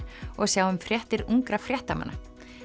og sjáum fréttir ungra fréttamanna